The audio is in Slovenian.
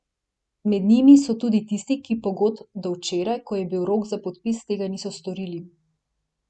Med njimi so tudi tisti, ki pogodb do včeraj, ko je bil rok za podpis, tega niso storili.